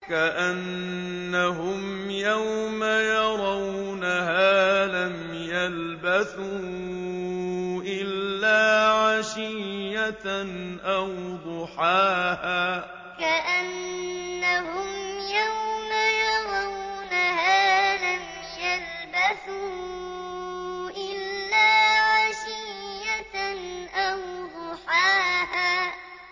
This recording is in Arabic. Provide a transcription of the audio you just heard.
كَأَنَّهُمْ يَوْمَ يَرَوْنَهَا لَمْ يَلْبَثُوا إِلَّا عَشِيَّةً أَوْ ضُحَاهَا كَأَنَّهُمْ يَوْمَ يَرَوْنَهَا لَمْ يَلْبَثُوا إِلَّا عَشِيَّةً أَوْ ضُحَاهَا